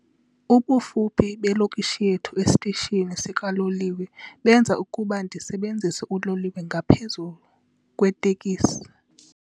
Ubufuphi belokishi yethu esitishini sikaloliwe benza ukuba ndisebenzise uloliwe ngaphezu kweetekisi.